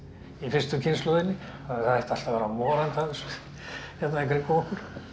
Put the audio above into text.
í fyrstu kynslóðinni það ætti allt að vera morandi af þessu hérna kringum okkur